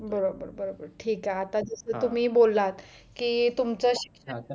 बरोबर बरोबर ठीक आहे आता जर तुम्ही बोलात की तुमचं शिक्षण